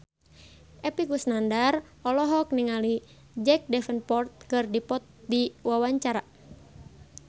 Epy Kusnandar olohok ningali Jack Davenport keur diwawancara